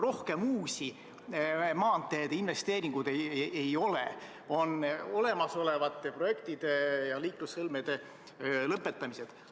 Rohkem uusi maanteedeinvesteeringuid ei ole, on olemasolevate projektide ja liiklussõlmede lõpetamised.